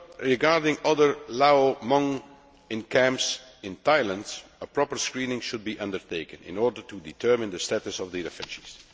Regarding other Lao Hmong in camps in Thailand, a proper screening should be undertaken in order to determine the status of the offences.